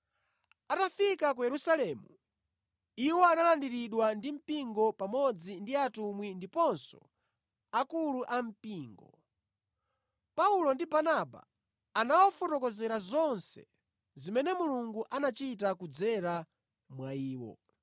Atafika ku Yerusalemu, iwo analandiridwa ndi mpingo, pamodzi ndi atumwi ndiponso akulu ampingo. Paulo ndi Barnaba anawafotokozera zonse zimene Mulungu anachita kudzera mwa iwo.